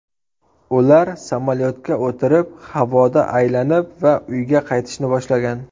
Ular samolyotga o‘tirib havoda aylanib va uyga qaytishni boshlagan.